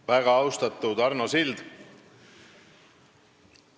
Väga austatud Arno Sild!